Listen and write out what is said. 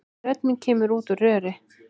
Rödd mín kemur út úr röri.